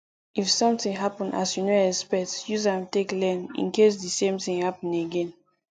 if something happen as you no expect use am take learn in case di same thing happen again